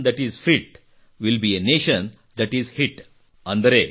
ಆ nation that is fit will be a nation that is hit